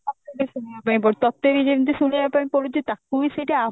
ତାକୁ ବି ଶୁଣିବା ପାଇଁ ପଡୁଛି ତୋତେ ବି ଯେମିତି ଶୁଣିବା ପାଇଁ ପଡୁଛି ତାକୁ ବି ସେଇଠି